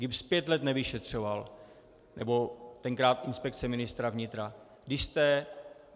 GIBS pět let nevyšetřoval, nebo tenkrát inspekce ministra vnitra.